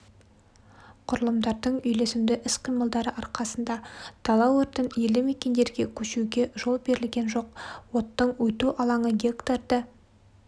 құрылымдардың үйлесімді іс-қимылдары арқасында дала өртін елді-мекендерге көшуге жол берілген жоқ оттың өту алаңы гектарды